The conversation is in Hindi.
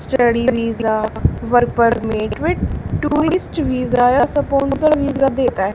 study visa work permit sponsor visa देता --